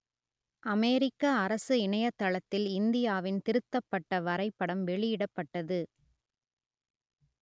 அமெரிக்க அரசு இணையதளத்தில் இந்தியாவின் திருத்தப்பட்ட வரைபடம் வெளியிடப்பட்டது